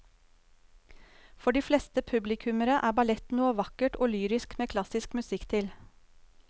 For de fleste publikummere er ballett noe vakkert og lyrisk med klassisk musikk til.